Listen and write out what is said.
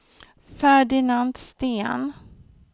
Ferdinand Sten